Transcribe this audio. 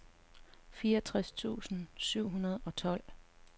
fireogtres tusind syv hundrede og tolv